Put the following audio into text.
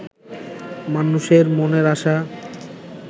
মানুষের মনের আশা